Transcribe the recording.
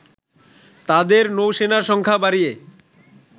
তাদের নৌসেনার সংখ্যা বাড়িয়ে